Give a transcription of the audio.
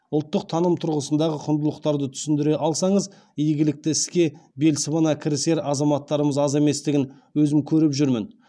ұлттық таным тұрғысындағы құндылықтарды түсіндіре алсаңыз игілікті іске бел сыбана кірісер азаматтарымыз аз еместігін өзім көріп жүрмін